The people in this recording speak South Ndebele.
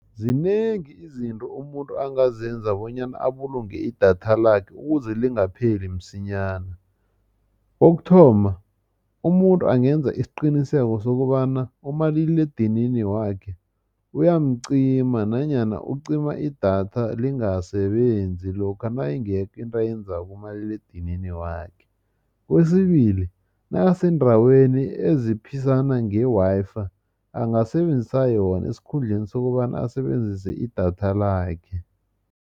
Zinengi izinto umuntu angazenza bonyana abulunge idatha lakhe ukuze lingapheli msinyana kokuthoma umuntu angenza isiqiniseko sokobana umaliledinini wakhe uyamcima nanyana ucima idatha lingasebenzi lokha nayingekho into ayenzako kumaliledinini wakhe. Kwesibili nakaseendaweni eziphisana nge-Wi-Fi angasebenzisa yona esikhundleni sokobana asebenzise idatha lakhe.